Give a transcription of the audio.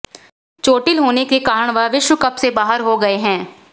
चोटिल होने के कारण वह विश्व कप से बाहर हो गये हैं